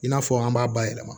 I n'a fɔ an b'a bayɛlɛma